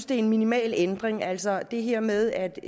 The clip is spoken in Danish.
det er en minimal ændring altså det her med at